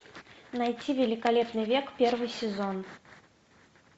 найти великолепный век первый сезон